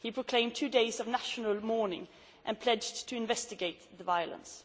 He proclaimed two days of national mourning and pledged to investigate the violence.